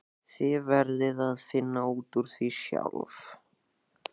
Þið verðið að finna út úr því sjálf.